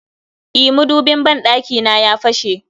E, madubin ban ɗakina ya fashe